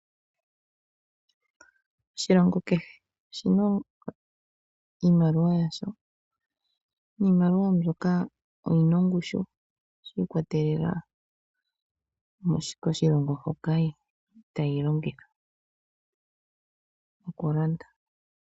Oshilongo kehe oshina iimaliwa yasho . Iimaliwa mbyoka oyina ongushu yi ikwatelela koshilongo hoka yili tayi longitha okulanda.